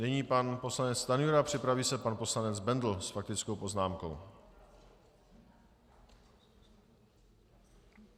Nyní pan poslanec Stanjura, připraví se pan poslanec Bendl s faktickou poznámkou.